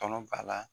Tɔnɔ b'a la